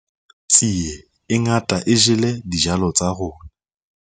tsie e ngata e jele dijalo tsa rona